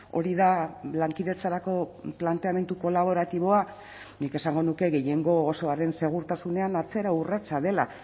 hori da lankidetzarako planteamendu kolaboratiboa nik esango nuke gehiengo osoaren segurtasunean atzera urratsa dela